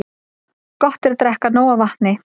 Gott er að drekka nóg af vatni.